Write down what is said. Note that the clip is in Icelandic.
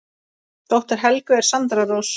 Dóttir Helgu er Sandra Rós.